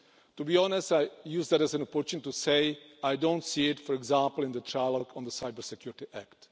To be honest, I use that as an opportunity to say I don't see it, for example, in the trilogue on the Cyber Security Act.